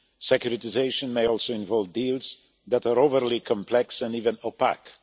Securitisation may also involve deals that are overly complex and even opaque.